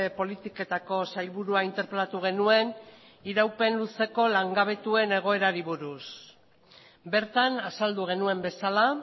politiketako sailburua interpelatu genuen iraupen luzeko langabetuen egoerari buruz bertan azaldu genuen bezala